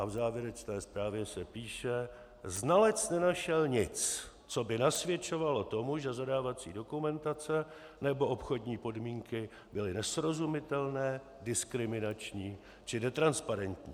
A v závěrečné zprávě se píše: "Znalec nenašel nic, co by nasvědčovalo tomu, že zadávací dokumentace nebo obchodní podmínky byly nesrozumitelné, diskriminační či netransparentní.